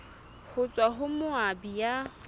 ho tswa ho moabi ya